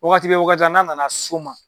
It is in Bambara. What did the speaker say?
Wagati bɛ wagati la n'a nana s'o ma.